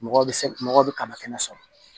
Mɔgɔ bɛ se mɔgɔ bɛ kaba kɛnɛ sɔrɔ